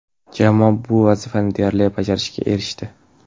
Jamoa bu vazifani deyarli bajarishga erishdi.